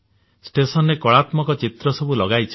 ଷ୍ଟେସନରେ କଳାତ୍ମକ ଚିତ୍ର ସବୁ ଲଗାଇଛନ୍ତି